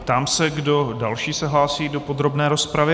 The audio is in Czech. Ptám se, kdo další se hlásí do podrobné rozpravy.